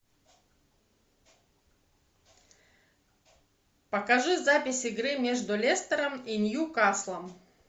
покажи запись игры между лестером и ньюкаслом